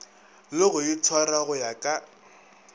le go itshwara go ya